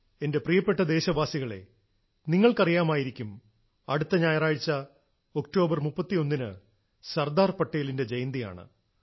എന്റെ പ്രിയപ്പെട്ട ദേശവാസികളേ നിങ്ങൾക്കറിയാമായിരിക്കും അടുത്ത ഞായറാഴ്ച ഒക്ടോബറിന് 31 ന് സർദാർ പട്ടേലിന്റെ ജയന്തിയാണ്